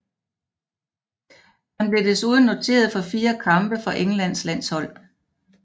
Han blev desuden noteret for fire kampe for Englands landshold